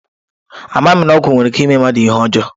Amaghị m na ọgwụ nwere ike ime mmadụ ihe ọjọọ